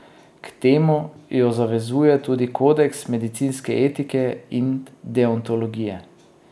K temu jo zavezuje tudi kodeks medicinske etike in deontologije.